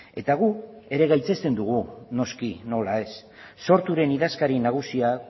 eta gu ere gaitzesten dugu noski nola ez sorturen idazkari nagusiak